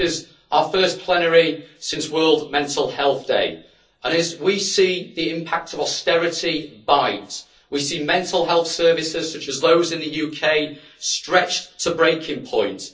This is our first plenary since World Mental Health Day and, as we see the impact of austerity bite, we see mental health services such as those in the UK stretched to breaking point.